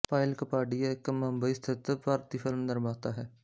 ਪਾਇਲ ਕਪਾਡੀਆ ਇੱਕ ਮੁੰਬਈ ਸਥਿਤ ਭਾਰਤੀ ਫ਼ਿਲਮ ਨਿਰਮਾਤਾ ਹੈ